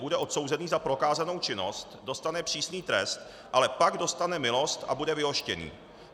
Bude odsouzený za prokázanou činnost, dostane přísný trest, ale pak dostane milost a bude vyhoštěný.